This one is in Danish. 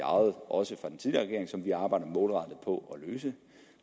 og som vi arbejder målrettet på at løse